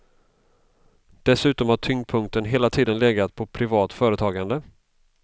Dessutom har tyngdpunkten hela tiden legat på privat företagande.